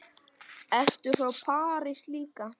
Ert þú frá París líka?